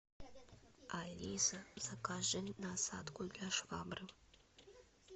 алиса закажи насадку для швабры